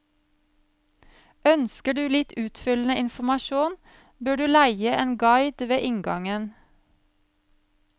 Ønsker du litt utfyllende informasjon bør du leie en guide ved inngangen.